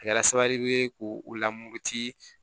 A kɛra sababu ye k'o lamururuti